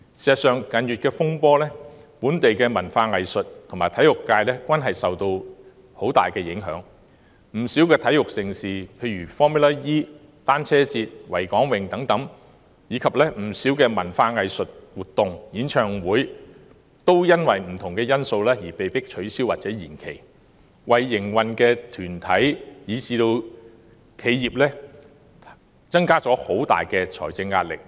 事實上，近月的風波令本地文化藝術和體育界受到很大影響，不少體育盛事如 Formula E 賽車賽事、單車節、維港泳，以至不少文化藝術活動和演唱會也基於不同因素而被迫取消或延期，對營運的團體以至企業構成很大財政壓力。